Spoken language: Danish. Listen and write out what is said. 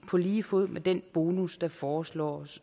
på lige fod med den bonus der foreslås